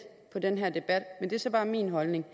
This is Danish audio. på den her debat men det er så bare min holdning